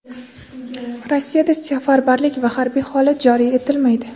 Rossiyada safarbarlik va harbiy holat joriy etilmaydi.